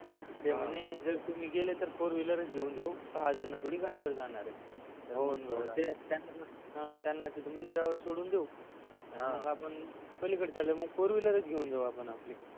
आणि तुम्ही गेले तर फोर व्हिलरच घेऊन जाऊ सहा जण थोडी गाडीवर जाणारय घेऊन जाऊ त्यांना तिथ मंदिरावर सोडून देऊ हा आणि मग आपण पलीकडे चालले जाऊ मग फोर व्हिलरच जाऊ आपण आपली